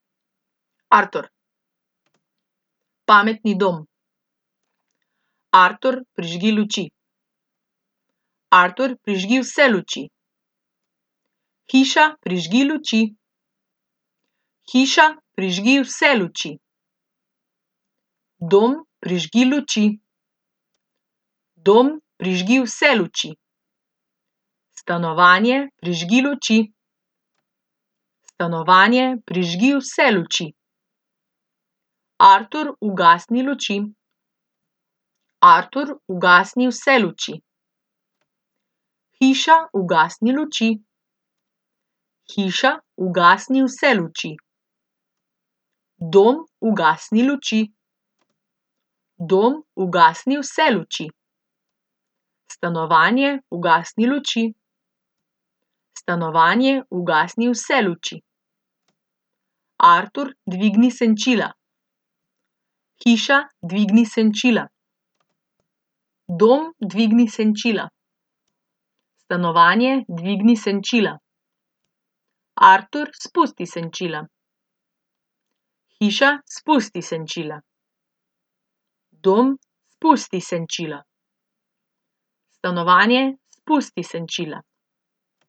Artur. Pametni dom. Artur, prižgi luči. Artur, prižgi vse luči. Hiša, prižgi luči. Hiša, prižgi vse luči. Dom, prižgi luči. Dom, prižgi vse luči. Stanovanje, prižgi luči. Stanovanje, prižgi vse luči. Artur, ugasni luči. Artur, ugasni vse luči. Hiša, ugasni luči. Hiša, ugasni vse luči. Dom, ugasni luči. Dom, ugasni vse luči. Stanovanje, ugasni luči. Stanovanje, ugasni vse luči. Artur, dvigni senčila. Hiša, dvigni senčila. Dom, dvigni senčila. Stanovanje, dvigni senčila. Artur, spusti senčila. Hiša, spusti senčila. Dom, spusti senčila. Stanovanje, spusti senčila.